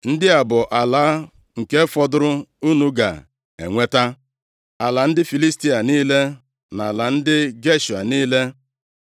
“Ndị a bụ ala nke fọdụrụ unu ga-enweta: “ala ndị Filistia niile na ala ndị Geshua niile, + 13:2 Ndị Geshua biri nʼakụkụ ọnụ mmiri nʼoke ala Ijipt, na ndịda ala Filistia.